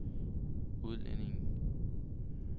udlændinge